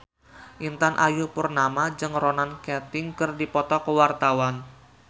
Intan Ayu Purnama jeung Ronan Keating keur dipoto ku wartawan